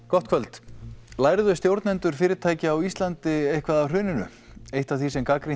gott kvöld lærðu stjórnendur fyrirtækja á Íslandi eitthvað af hruninu eitt af því sem gagnrýnt